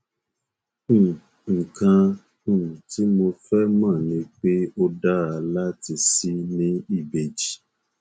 um nǹkan um tí mo fẹ mọ ni pé ó dára láti ṣì ní ìbejì